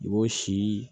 I b'o si